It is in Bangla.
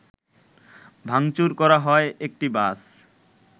ভাংচুর করা হয় একটি বাস